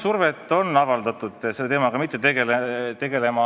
Jah, on avaldatud survet, et ma selle teemaga ei tegeleks.